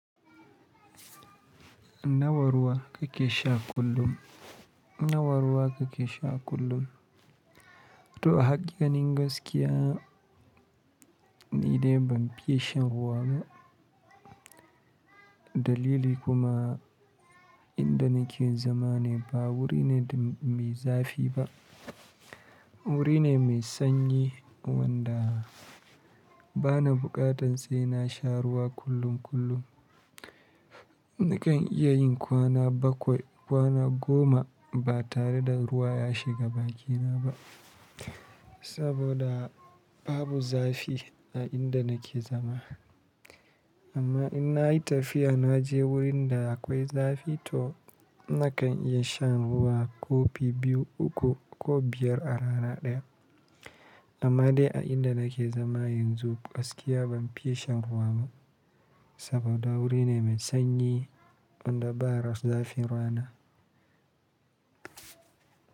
Na wa ruwa kake sha kullum? Na wa ruwa kake sha kullum? To a hakika, nin gaskiya ni dai ban fiye shan ruwa ba. Dalili kuma inda nake zama ne ba wuri ne mai zafi ba. Wuri ne mai sanyi wanda bana buƙatan sai na sha ruwa kullum kullum. Nakan iya yin kwana bakwai, kwana goma ba tare da ruwa ya shiga bakina ba saboda babu zafi a inda nake zama. Amma in na yi tafiya na je wurin da akwai zafi to nakan iya shan ruwa kofi biyu, uku ko biyar a rana ɗaya. Amma dai a inda nake zama yanzu gaskiya ban fiye shan ruwa ba saboda wuri ne mai sanyi wanda ba raf zafin rana.